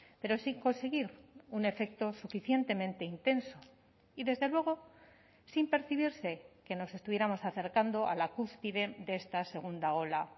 pero sin conseguir un efecto suficientemente intenso y desde luego sin percibirse que nos estuviéramos acercando a la cúspide de esta segunda ola